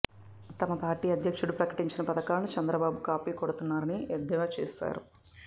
తమ పార్టీ అధ్యక్షుడు ప్రకటించిన పథకాలను చంద్రబాబు కాపీ కొడుతున్నారని ఎద్దేవా చేశారు